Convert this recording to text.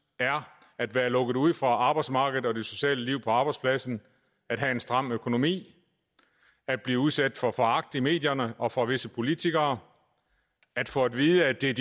er at være lukket ude fra arbejdsmarkedet og det sociale liv på arbejdspladsen at have en stram økonomi at blive udsat for foragt i medierne og fra visse politikere at få at vide at det er